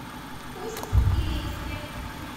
усть илимске